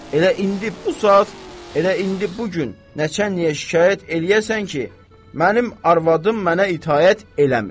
Elə indi bu saat, elə indi bu gün nəçənliyə şikayət eləyəsən ki, mənim arvadım mənə itaət eləmir.